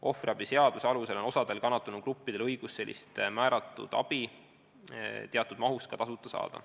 Ohvriabi seaduse alusel on osal kannatanugruppidel õigus sellist määratud abi teatud mahus ka tasuta saada.